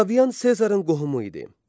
Oktavian Sezarın qohumu idi.